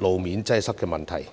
路面擠塞的問題。